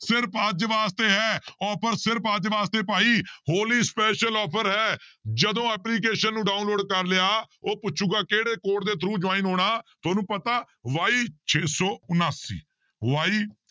ਸਿਰਫ਼ ਅੱਜ ਵਾਸਤੇ ਹੈ offer ਸਿਰਫ਼ ਅੱਜ ਵਾਸਤੇ ਭਾਈ ਹੋਲੀ special offer ਹੈ ਜਦੋਂ application ਨੂੰ download ਕਰ ਲਿਆ ਉਹ ਪੁੱਛੇਗਾ ਕਿਹੜੇ code ਦੇ through join ਹੋਣਾ ਤੁਹਾਨੂੰ ਪਤਾ y ਛੇ ਸੌ ਉਣਾਸੀ y